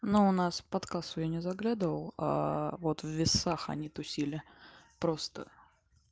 но у нас под кассу я не заглядывал вот в весах они тусили просто